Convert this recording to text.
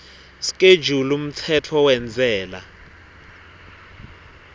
schedule umtsetfo wentsela